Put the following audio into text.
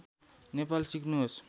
नेपाल सिक्नुहोस्